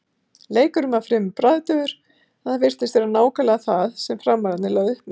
Leikurinn var fremur bragðdaufur en það virtist vera nákvæmlega það sem Framararnir lögðu upp með.